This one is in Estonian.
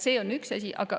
See on üks asi.